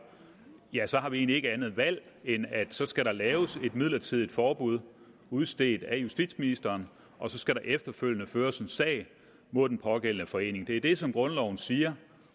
så har vi egentlig ikke andet valg end at så skal der laves et midlertidigt forbud udstedt af justitsministeren og så skal der efterfølgende føres en sag mod den pågældende forening det er det som grundloven siger